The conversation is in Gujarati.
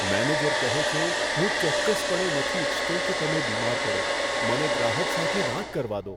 મેનેજર કહે છે, હું ચોક્કસપણે નથી ઈચ્છતો કે તમે બીમાર પડો. મને ગ્રાહક સાથે વાત કરવા દો.